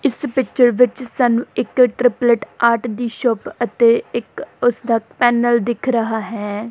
ਇਸ ਪਿੱਚਰ ਵਿੱਚ ਸਾਨੂੰ ਇੱਕ ਟਰਪਲੇਟ ਆਰਟ ਦੀ ਸ਼ੋਪ ਅਤੇ ਇੱਕ ਉਸਦਾ ਪੈਨਲ ਦਿੱਖ ਰਹਾ ਹੈ।